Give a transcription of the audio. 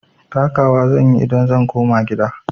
Taka wa zan yi idan zan koma gida.